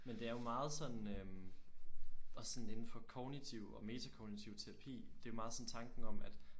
Men det er jo meget sådan øh også sådan inden for kognitiv og metakognitiv terapi det er meget sådan tanken om at